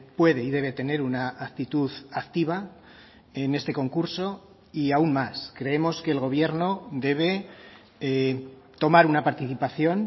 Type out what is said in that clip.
puede y debe tener una actitud activa en este concurso y aun más creemos que el gobierno debe tomar una participación